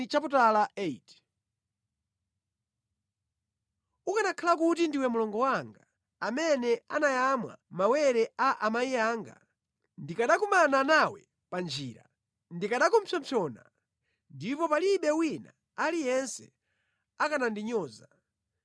Ukanakhala kuti ndiwe mlongo wanga, amene anayamwa mawere a amayi anga! Ndikanakumana nawe pa njira, ndikanakupsompsona, ndipo palibe wina aliyense akanandinyoza.